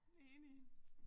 Enig